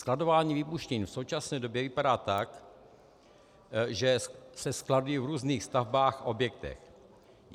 Skladování výbušnin v současné době vypadá tak, že se skladují v různých stavbách a objektech.